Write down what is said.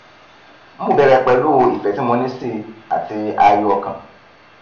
mo bẹrẹ pẹlú ìfẹ tí mo ní sí i àti ààyò ọkàn